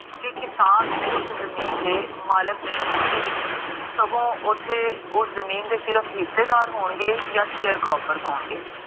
ਕੀ ਕਿਸਨ ਉਸ ਜਮੀਨ ਦੇ ਮਾਲਕ ਨਹੀ ਹੋਣਗੇ, ਸਗੋਂ ਓਥੇ ਓਸ ਜਮੀਨ ਦੇ ਸਿਰਫ ਹਿੱਸੇਦਾਰ ਹੋਣਗੇ ਯਾ share crockers ਹੋਣਗੇ